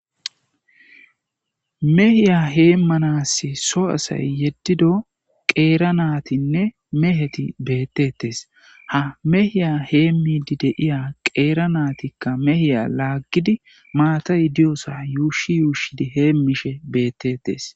Mehiya hee manas so asay yeddido qeera naatinne meheti beettettes ha mehiya hee miidi deiya qeera naatikka mehiya laaggidi maata idiyoosa yuushi yuushidi heemishe beettettes.